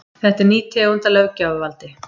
Þetta er ný tegund af löggjafarvaldi